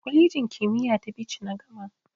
Kwalejin kimiyya ta Bichi na gama.